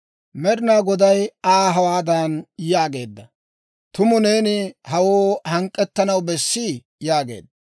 Med'inaa Goday Aa hawaadan yaageedda; «Tumu neeni hawoo hank'k'ettanaw bessii?» yaageedda.